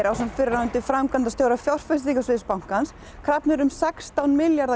ásamt fyrrverandi framkvæmdastjóra fyrirtækjasviðs bankans krafðir um rúma sextán milljarða